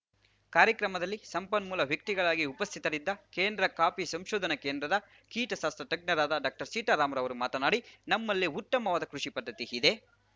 ಕಾರ್ಯಕ್ರಮದಲ್ಲಿ ಸಂಪನ್ಮೂಲ ವ್ಯಕ್ತಿಗಳಾಗಿ ಉಪಸ್ಥಿತರಿದ್ದ ಕೇಂದ್ರ ಕಾಫಿ ಸಂಶೋಧನಾ ಕೇಂದ್ರದ ಕೀಟಶಾಸ್ತ್ರ ತಜ್ಞರಾದ ಡಾಕ್ಟರ್ ಸೀತರಾಮ್‌ ಅವರು ಮಾತನಾಡಿ ನಮ್ಮಲ್ಲಿ ಉತ್ತಮವಾದ ಕೃಷಿ ಪದ್ಧತಿ ಇದೆ